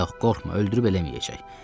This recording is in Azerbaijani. Yox, qorxma, öldürüb eləməyəcək.